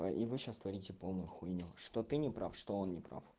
а и вы сейчас творите полную хуйню что ты не прав что он не прав